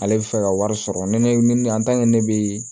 Ale bɛ fɛ ka wari sɔrɔ ni ne ne bɛ